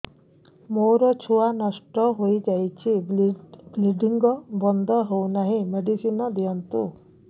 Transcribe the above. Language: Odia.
ମୋର ଛୁଆ ନଷ୍ଟ ହୋଇଯାଇଛି ବ୍ଲିଡ଼ିଙ୍ଗ ବନ୍ଦ ହଉନାହିଁ ମେଡିସିନ ଦିଅନ୍ତୁ